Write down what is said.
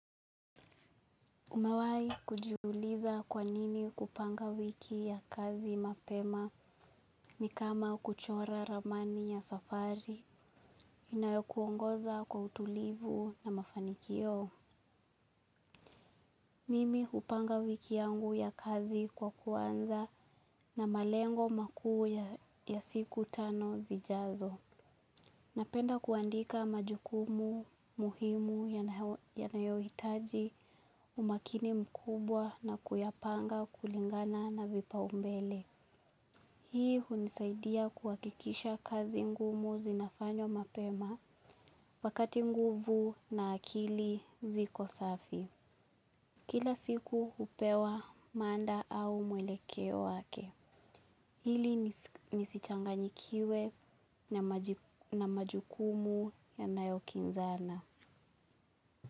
Umewahi kujiuliza kwanini kupanga wiki ya kazi mapema ni kama kuchora ramani ya safari inayokuongoza kwa utulivu na mafanikio. Mimi hupanga wiki yangu ya kazi kwa kuanza na malengo makuu ya siku tano zijazo. Napenda kuandika majukumu muhimu yanayo hitaji umakini mkubwa na kuyapanga kulingana na vipa umbele. Hii hunisaidia kuhakikisha kazi ngumu zinafanywa mapema wakati nguvu na akili ziko safi. Kila siku hupewa mada au mwelekeo wake. Ili nisichanganyikiwe na majukumu yanayokinzana.